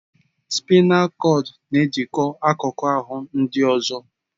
Spaịnal kọdụ n'ejikọ akụkụ ahụ ndị ọzọ